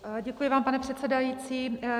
Děkuji vám, pane předsedající.